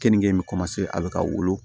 Kenige in bɛ a bɛ ka wolo